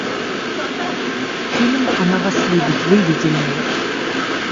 фильм она вас любит выведи мне